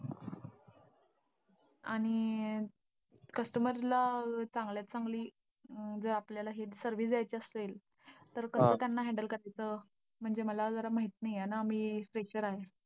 आणि customer ला चांगल्यात चांगली जर आपल्याला service द्यायची असेल, तर कसं त्यांना handle करायचं, म्हणजे मला जरा माहिती नाहीये ना, मी fresher आहे.